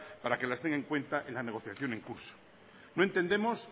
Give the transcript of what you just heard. para que las tenga en cuenta en la negociación en curso no entendemos